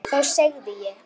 Þá segði ég: